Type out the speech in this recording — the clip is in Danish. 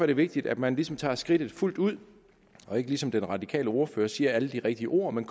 det vigtigt at man ligesom tager skridtet fuldt ud og ikke ligesom den radikale ordfører siger alle de rigtige ord men